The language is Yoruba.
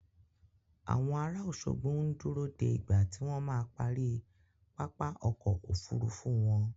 Àwọn ará Òṣogbo ń dúró de ìgbà tí wọ́n ma parí pápá ọkọ̀ Òfurufú wọn.